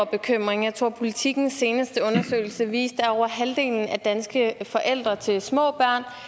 bekymring jeg tror at politikens seneste undersøgelse viste at over halvdelen af danske forældre til små